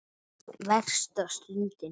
Versta stundin?